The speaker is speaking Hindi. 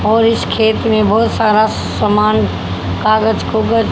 और इस खेत में बहोत सारा सामान --